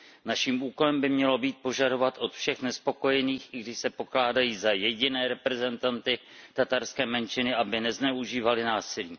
Naším úkolem by mělo být požadovat od všech nespokojených, i když se pokládají za jediné reprezentanty tatarské menšiny, aby nezneužívali násilí.